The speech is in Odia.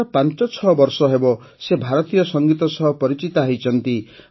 ମାତ୍ର ୫୬ ବର୍ଷ ହେବ ସେ ଭାରତୀୟ ସଙ୍ଗୀତ ସହ ପରିଚିତ ହୋଇଛନ୍ତି